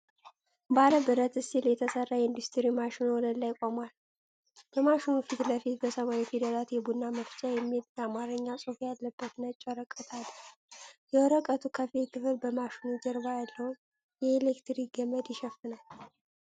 ባለ ብረት ስቲል የተሰራ የኢንዱስትሪ ማሽን ወለል ላይ ቆሟል። በማሽኑ ፊት ለፊት በሰማያዊ ፊደላት “የቡና መፍጫ” የሚል የአማርኛ ጽሑፍ ያለበት ነጭ ወረቀት አለ። የወረቀቱ ከፊል ክፍል በማሽኑ ጀርባ ያለውን የኤሌክትሪክ ገመድ ይሸፍናል።